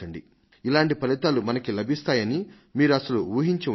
ఇలాంటి ఫలితాలు మనకి లభిస్తాయి అని మీరు అసలు ఊహించి ఉండరు